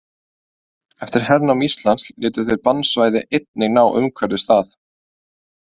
Eftir hernám Íslands létu þeir bannsvæði einnig ná umhverfis það.